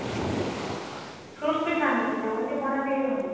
fruits ବି ଖାଆନ୍ତିନି ସେ only ପଣା ପିକି ରୁହନ୍ତି